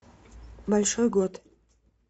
большой год